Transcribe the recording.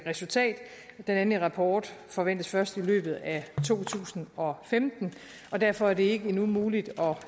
resultat den endelige rapport forventes først i løbet af to tusind og femten og derfor er det endnu ikke muligt at